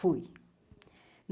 Fui.